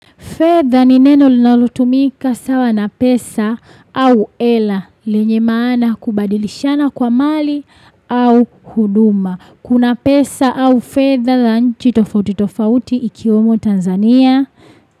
Fedha ni neno linalutumika sawa na pesa au hela, lenye maana kubadilishana kwa mali au huduma. Kuna pesa au fedha za nchi tofauti tofauti ikiwemo Tanzania.